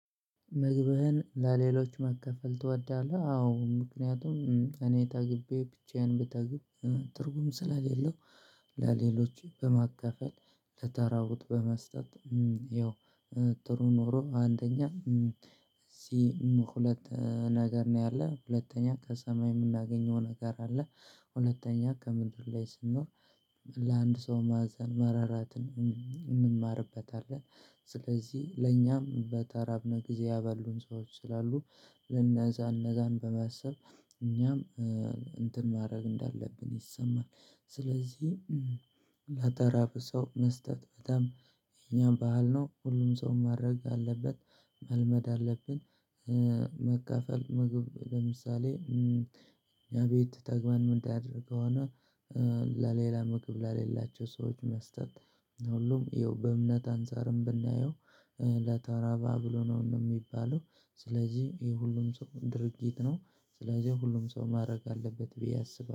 መግብህን ለሌሎች ማከፈል ትወዳለህ? አዎ ምክንያቱም እኔ ጠግቤ ብቻዬን ብጠግብ ትርጉም ስለሌለው ለሌሎች በማካፈል ለተራቡት በመስጠት። ያው ጥሩ ኑሮ አንደኛ እዚህ ሁለት ነገር ነው ያለ ሁለተኛ ከሰማይ የምናገኘው ነገር አለ። ሁለተኛ ከምድር ላይ ስንኖር ለአንድ ሰው ማዘን መራራትን እንማርበታለን። ስለዚህ ለእኛም በተራብነ ጊዜ ያበሉን ሰዎች ስላሉ ለነዛ እነዛን በማሰብ እኛም እንትን ማድረግ እንዳለብን ይሰማል። ስለዚህ ላተራብ ሰው መስጠት በጣም የእኛም ባህል ነው ሁሉም ሰው ማድረግ አለበት መልመድ አለብን። መካፈል ምግብ ለምሳሌ ያ ቤት ተግብን ምናድር ከሆነ ለሌላ ምግብ ለሌላቸው ሰዎች መስጠት። ሁሉም ይኸው በእምነት አንፃርም ብናየው ለተራበ አብሉ ነው የሚባለው። ስለዚህ ይሄ ሁሉም ሰው ድርጊት ነው ስለዚህ ሁሉም ሰው ማድረግ አለበት ብዬ አስባለሁ